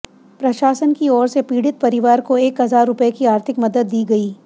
प्रशासन की ओर से पीडि़त परिवार को एक हजार रुपए की आर्थिक मदद दी गई